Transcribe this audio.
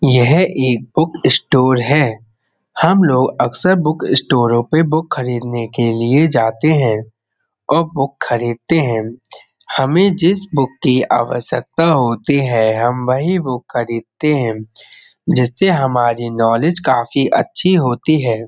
यह एक book store है। हम लोग अक्सर बुक स्टोरों पे बुक खरीदने के लिए जाते हैं और बुक खरीदते हैं हमे जिस बुक की आवश्कता होती है हम वही बुक खरीदते हैं। जिससे हमारी नॉलेज काफी अच्छी होती है।